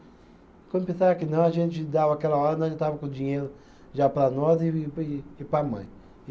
Quando pensava que não, a gente dava aquela hora, nós estava com o dinheiro já para nós e e e para a mãe.